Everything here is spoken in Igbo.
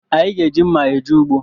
Anyị ga-eji mma eje ugbo